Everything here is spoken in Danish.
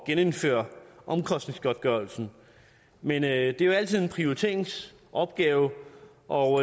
at genindføre omkostningsgodtgørelsen men det er jo altid en prioriteringsopgave og